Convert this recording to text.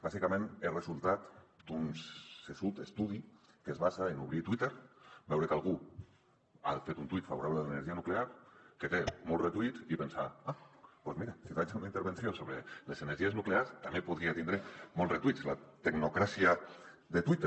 bàsicament és resultat d’un saberut estudi que es basa en obrir twitter veure que algú ha fet un tuit favorable a l’energia nuclear que té molts retuits i pensar ah doncs mira si faig una intervenció sobre les energies nuclears també podria tindre molts retuits la tecnocràcia de twitter